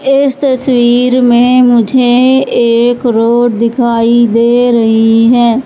इस तस्वीर में मुझे एक रोड दिखाई दे रही है।